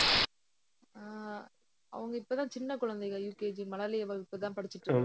அஹ் அவங்க இப்பதான் சின்ன குழந்தைங்கள் UKG மழலையர் வகுப்புதான் படிச்சுட்டு இருக்காங்க